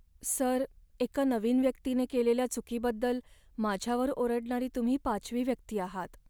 Sir, एका नवीन व्यक्तीने केलेल्या चुकीबद्दल माझ्यावर ओरडणारी तुम्ही पाचवी व्यक्ती आहात.